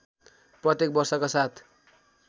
प्रत्येक वर्षका साथ